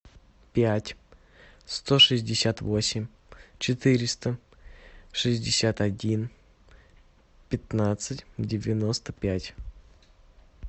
пять сто шестьдесят восемь четыреста шестьдесят один пятнадцать девяносто пять